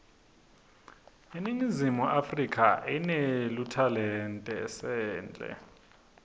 iningizimu afrika inetluanetasendle